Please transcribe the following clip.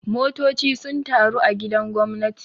Motoci sun taru a gidan gwamnati.